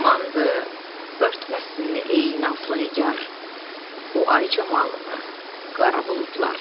Amandır, örtməsin ey nazlı Nigar o ay camalını qara buludlar.